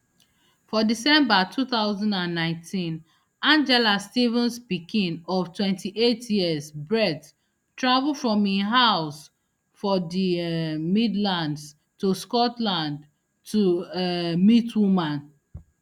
for december two thousand and nineteen angela stevens pikin of twenty-eight years brett travel from im house for di um midlands to scotland to um meet woman